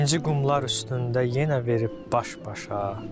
İnci qumlar üstündə yenə verib baş-başa.